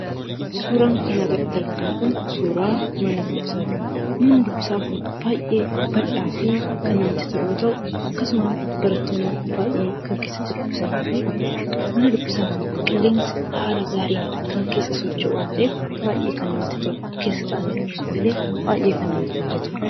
Suuraan kanaa gaditti argitan kun suuraa mana dubbisaati. Manni dubbisaa kun baay'ee bal'aa fi kan namatti tolu yoo ta'u, akkasumas barattoonni baay'een kan keessatti dubbisanii fi mana dubbisaa kan qilleensi haala gaariin kan keessa socho'u waan ta'eef baay'ee kan namatti tolu; keessa taa'anii dubbisuuf illee baay'ee kan namatti mijatuudha jechuudha.